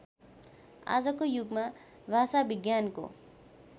आजको युगमा भाषाविज्ञानको